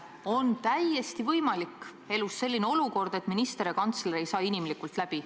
Elus on täiesti võimalik selline olukord, et minister ja kantsler ei saa inimlikult läbi.